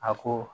A ko